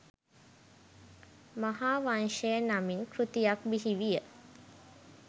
මහාවංශය නමින් කෘතියක් බිහිවිය.